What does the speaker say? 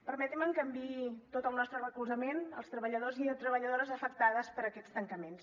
permetin me que enviï tot el nostre recolzament als treballadors i treballadores afectats per aquests tancaments